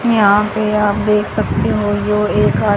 यहा पे आप देख सकते हो जो एक--